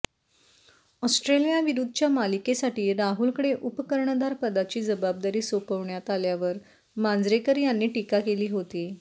ऑस्ट्रेलियाविरुद्धच्या मालिकेसाठी राहुलकडे उपकर्णधार पदाची जबाबदारी सोपवण्यात आल्यावर मांजरेकर यांनी टीका केली होती